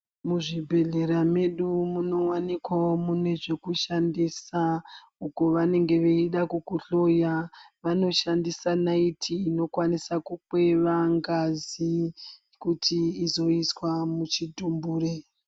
Muzvi bhehlera medu munowanikwawo mune zveku shandisa uko vanenge veida kuku hloya vanoshandisa naiti ino kwanisa kukweva ngazi kuti izo iswa muchi tumbure.